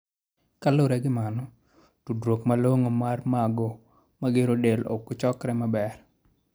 kaluwore gi mano, tudruok malong'o mar mago magero del ok chokre maber.